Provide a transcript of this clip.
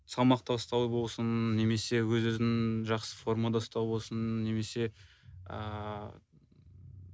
салмақ тастау болсын немесе өз өзін жақсы формада ұстау болсын немесе ааа